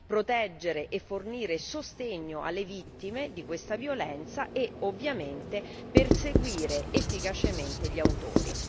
proteggere e fornire sostegno alle vittime di questa violenza e, ovviamente, perseguire efficacemente gli autori.